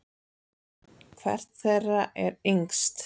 Hvert þeirra er yngst?